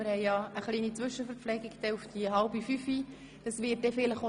Wir nehmen um 16.30 Uhr eine kleine Zwischenverpflegung ein.